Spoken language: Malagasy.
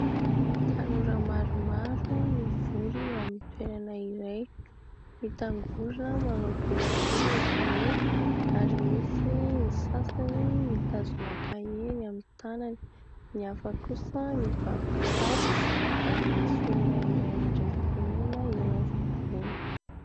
Tanora maromaro mivory eo amin'ny toerana iray mitangorona, manao boribory izy ireo ary misy ny sasany mitazona kahie eny amin'ny tanany, ny hafa kosa mibaby kitapo ary misy olona iray mandray fitenenana eo afovoany.